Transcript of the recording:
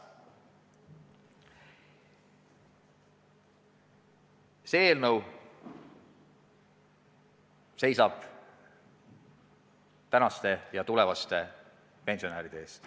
See eelnõu seisab praeguste ja tulevaste pensionäride eest.